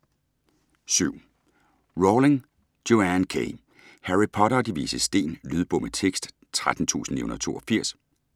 Rowling, Joanne K.: Harry Potter og De Vises Sten Lydbog med tekst 13982